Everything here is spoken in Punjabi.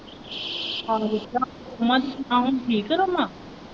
ਉਹਨਾਂ ਦੀ ਜੇਠਾਣੀ ਠੀਕ ਹੈ .